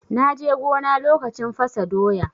Na je gona lokacin fasa doya.